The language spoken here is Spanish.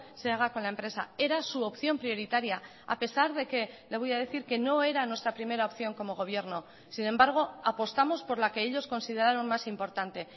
se haga con la empresa era su opción prioritaria a pesar de que le voy a decir que no era nuestra primera opción como gobierno sin embargo apostamos por la que ellos consideraron más importante